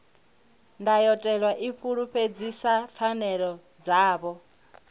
ndayotewa i fulufhedzisa pfanelo dzavho